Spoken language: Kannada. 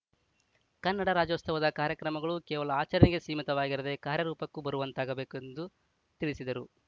ಕನ್ನಡ ರಾಜ್ಯೋತ್ಸವದ ಕಾರ್ಯಕ್ರಮಗಳು ಕೇವಲ ಆಚರಣೆಗೆ ಸೀಮಿತವಾಗಿರದೇ ಕಾರ್ಯರೂಪಕ್ಕೂ ಬರುವಂತಾಗಬೇಕು ಎಂದು ತಿಳಿಸಿದರು